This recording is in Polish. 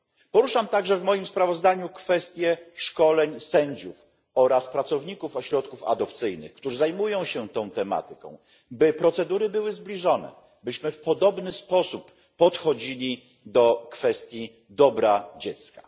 Poruszam także w moim sprawozdaniu zagadnienie szkoleń sędziów oraz pracowników ośrodków adopcyjnych, którzy zajmują się tą tematyką, tak by procedury były zbliżone, byśmy w podobny sposób podchodzili do kwestii dobra dziecka.